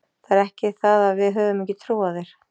Það er ekki það að við höfum ekki trú á þér.